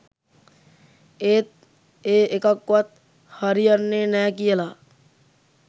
ඒත් ඒ එකක්වත් හරියන්නෙ නෑ කියලා